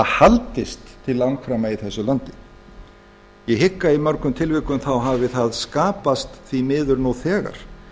haldist til langframa í þessu landi ég hygg að í mörgum tilvikum hafi það skapast því miður nú þegar